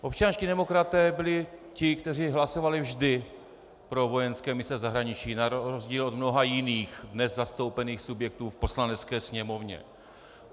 Občanští demokraté byli ti, kteří hlasovali vždy pro vojenské mise v zahraničí, na rozdíl od mnoha jiných dnes zastoupených subjektů v Poslanecké sněmovně.